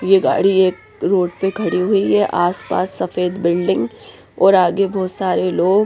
ये गाड़ी एक रोड पे खड़ी हुई है आस पास सफेद बिल्डिंग और आगे बहुत सारे लोग।